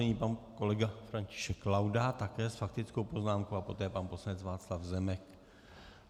Nyní pan kolega František Laudát také s faktickou poznámkou a poté pan poslanec Václav Zemek.